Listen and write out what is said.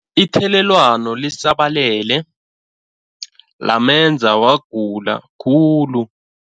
Ithelelwano lisabalele lamenza wagula khulu.